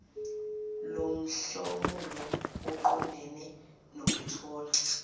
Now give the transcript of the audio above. lomhlomulo oqondene nokuthola